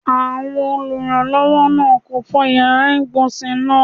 Awọn olùrànlọ́wọ́ náà kò fọ yàrá ìgbọ̀nsé náà.